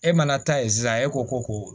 E mana taa yen sisan e ko ko